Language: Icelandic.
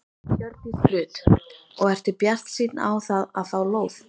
Hjördís Rut: Og ertu bjartsýnn á það að fá lóð?